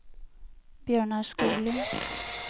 Bjørnar Skoglund